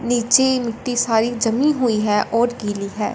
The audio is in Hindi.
निचे मिट्टी सारी जमी हुई है और गीली है।